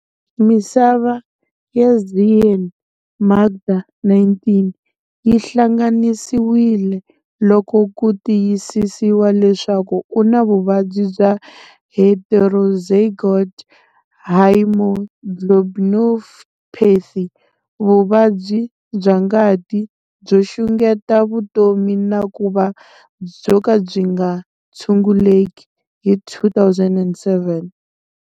Misava ya Zyaan Makda, 19, yi hlangananisiwile loko ku tiyisisiwa leswaku u na vuvabyi bya heterozygote haemoglobinopathy, vuva byi bya ngati byo xungeta vutomi na ku va byo ka byi nga tshunguleki, hi 2007.